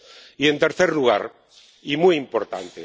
Y, en tercer lugar y muy importante.